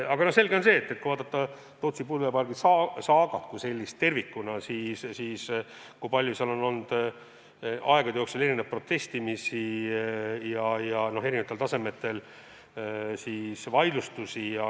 Samas on selge, et mis puutub Tootsi tuulepargi saagasse tervikuna, siis seal on olnud aegade jooksul palju protestimist ja eri tasemetel vaidlustusi.